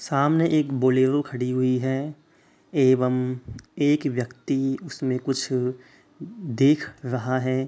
सामने एक बोलेरो खड़ी हुई है एवं एक व्यक्ति उसमें कुछ देख रहा है।